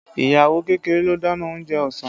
Ìyàwó kékeré ló dáná oúnjẹ ọsàn